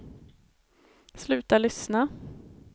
sluta lyssna